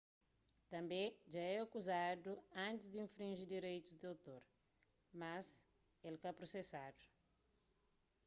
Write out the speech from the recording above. tanbê dja é akuzadu antis di infrinji direitus di otor mas el ka prosesadu